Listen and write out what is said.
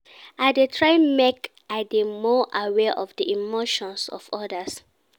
I dey try make I dey more aware of di emotions of odas.